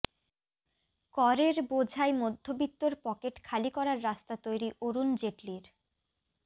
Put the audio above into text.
করের বোঝায় মধ্যবিত্তর পকেট খালি করার রাস্তা তৈরি অরুণ জেটলির